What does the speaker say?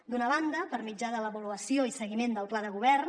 d’una banda per mitjà de l’avaluació i seguiment del pla de govern